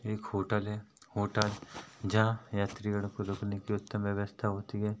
एक होटल है होटल जहाँ यात्रीगण को रुकने की उत्तम व्यवस्था होती है।